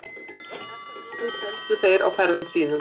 Þessar vörur seldu þeir á ferðum sínum.